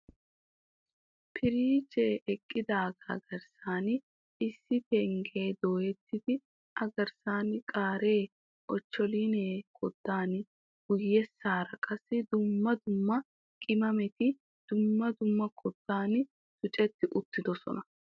Piriijee eqidaaga garssan, issi penggee dooyetidi a garssan qaaree, ochcholiinee koddan, guyyessaara qaassi dumma dumma qimameti dumma dumma koddatun tucceti uttidosona.